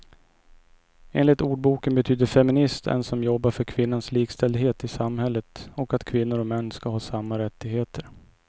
Enligt ordboken betyder feminist en som jobbar för kvinnans likställdhet i samhället och att kvinnor och män ska ha samma rättigheter.